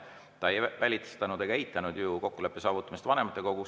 Ta ei välistanud ega eitanud kokkuleppe saavutamist vanematekogus.